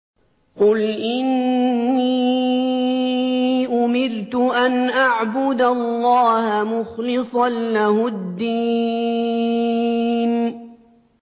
قُلْ إِنِّي أُمِرْتُ أَنْ أَعْبُدَ اللَّهَ مُخْلِصًا لَّهُ الدِّينَ